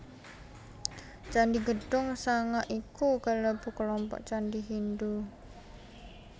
Candhi Gedhong Sanga iku kalebu kelompok candhi Hindhu